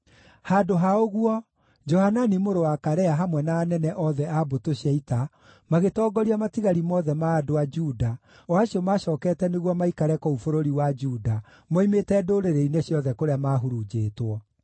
Handũ ha ũguo, Johanani mũrũ wa Karea hamwe na anene othe a mbũtũ cia ita magĩtongoria matigari mothe ma andũ a Juda, o acio macookete nĩguo maikare kũu bũrũri wa Juda moimĩte ndũrĩrĩ-inĩ ciothe kũrĩa mahurunjĩtwo.